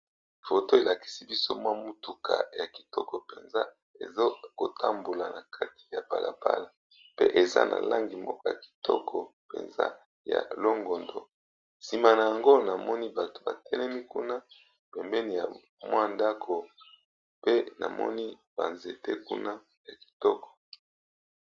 Foto elakisi biso mwa mutuka ya kitoko mpenza ezo kotambola na kati ya bala bala, pe eza na langi moko ya kitoko mpenza ya longondo. Nsima nango namoni bato ba telemi kuna pembeni ya mwa ndako pe namoni ba nzete kuna ya kitoko.